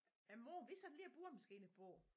Øh mor vi sætter lige æ boremaskine på